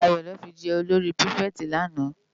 Dayo lò fi jè ólóri pirifèti làná